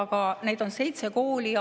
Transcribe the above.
Neid koole on seitse.